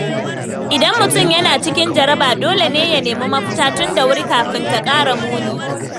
Idan mutum yana cikin jaraba, dole ne ya nemi mafita tun da wuri kafin ta ƙara muni.